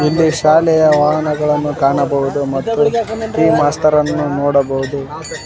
ಇಲ್ಲಿ ಶಾಲೆಯ ವಾಹನಗಳನ್ನು ಕಾಣಬಹುದು ಮತ್ತು ಪಿ_ಈ ಮಾಸ್ಟರ್ ಅನ್ನು ನೋಡಬಹುದು.